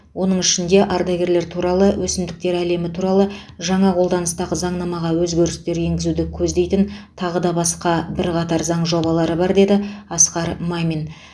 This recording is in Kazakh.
оның ішінде ардагерлер туралы өсімдіктер әлемі туралы жаңа қолданыстағы заңнамаға өзгерістер енгізуді көздейтін тағы да басқа бірқатар заң жобалары бар деді асқар мамин